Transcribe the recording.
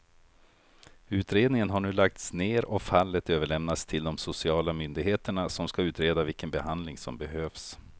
Utredningen har nu lagts ner och fallet överlämnats till de sociala myndigheterna som ska utreda vilken behandling som behövs.